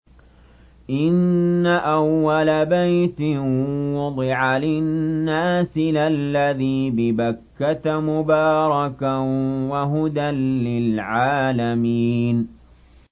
إِنَّ أَوَّلَ بَيْتٍ وُضِعَ لِلنَّاسِ لَلَّذِي بِبَكَّةَ مُبَارَكًا وَهُدًى لِّلْعَالَمِينَ